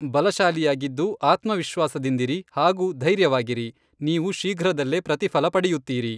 ಬಲಶಾಲಿಯಾಗಿದ್ದು, ಆತ್ಮವಿಶ್ವಾಸದಿಂದಿರಿ ಹಾಗೂ ಧೈರ್ಯವಾಗಿರಿ, ನೀವು ಶೀಘ್ರದಲ್ಲೇ ಪ್ರತಿಫಲ ಪಡೆಯುತ್ತೀರಿ.